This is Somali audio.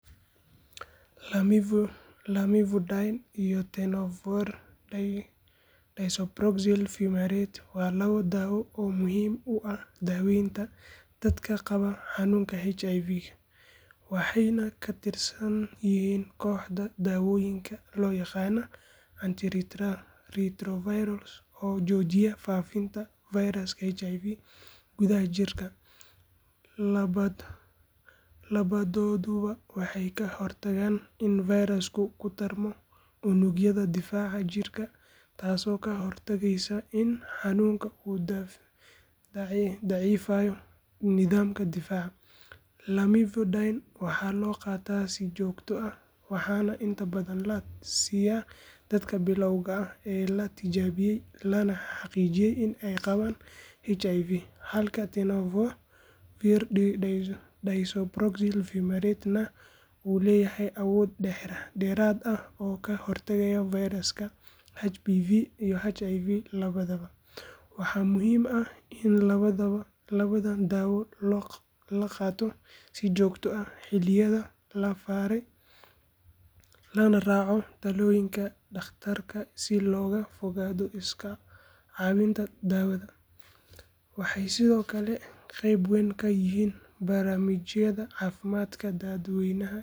amivudine iyo tenofovir disoproxil fumarate waa laba daawo oo muhiim u ah daaweynta dadka qaba xanuunka HIV waxayna ka tirsan yihiin kooxda daawooyinka loo yaqaan antiretrovirals oo joojiya faafidda fayraska HIV gudaha jidhka. Labadooduba waxay ka hortagaan in fayrasku ku tarmo unugyada difaaca jidhka taasoo ka hortagaysa in xanuunku uu daciifiyo nidaamka difaaca. Lamivudine waxaa loo qaataa si joogto ah waxaana inta badan la siiyaa dadka bilawga ah ee la tijaabiyey lana xaqiijiyey in ay qabaan HIV halka tenofovir disoproxil fumarate-na uu leeyahay awood dheeraad ah oo ka hortagta fayrasyada HBV iyo HIV labadaba. Waxaa muhiim ah in labadan daawo la qaato si joogto ah xilliyada la faray lana raaco talooyinka dhaqtarka si looga fogaado iska caabbinta daawada. Waxay sidoo kale qayb weyn ka yihiin barnaamijyada caafimaadka dadweynaha ee lagu yareynayo.